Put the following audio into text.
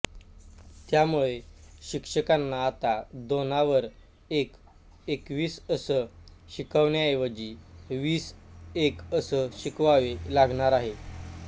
त्यामुळे शिक्षकांना आता दोनावर एक एकवीस असं शिकवण्याऐवजी वीस एक असं शिकवावे लागणार आहे